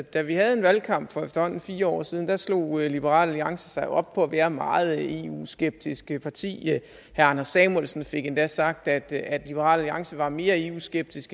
da vi havde en valgkamp for efterhånden fire år siden slog liberal alliance sig jo op på at være meget et eu skeptisk parti herre anders samuelsen fik endda sagt at at liberal alliance var mere eu skeptisk